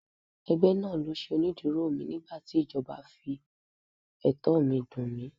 Ẹgbẹ́ náà ló ṣe onídùúró mi nígbàtí ìjọba fi ẹ̀tọ́ mi dùn mí.